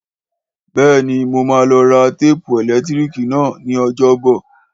Bẹ́ẹ̀ni, Mo má lọ ra téèpù ẹ̀lẹ́tíríkì náà ni ọjọ́ bọ̀